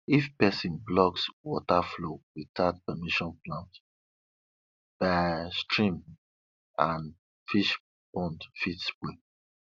if person blocks water flow without permission plants by stream and fish pond fit spoil